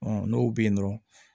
Ɔn n'o be yen nɔ